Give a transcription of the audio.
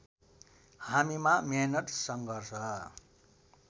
हामीमा मेहनत सङ्घर्ष